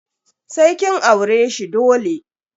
Sai kin aure shi dole.